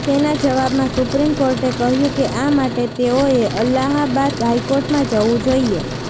તેના જવાબમાં સુપ્રીમ કોર્ટે કહ્યું કે આ માટે તેઓએ અલ્હાબાદ હાઈકોર્ટમાં જવું જોઈએ